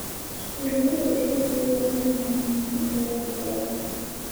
Etumito laisiyiak loo nkampunini olkirobi le korona.